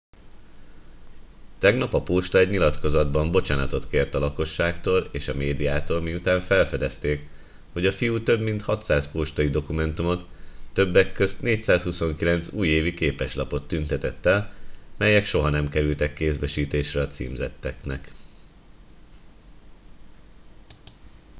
tegnap a posta egy nyilatkozatban bocsánatot kért a lakosságtól és a médiától miután felfedezték hogy a fiú több mint 600 postai dokumentumot többek közt 429 újévi képeslapot tüntetett el melyek soha nem kerültek kézbesítésre a címzetteknek